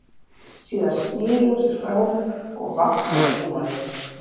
Síðan sneri hún sér frá honum og vaggaði heim á leið.